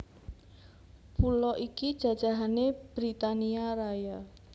Pulo iki jajahané Britania Raya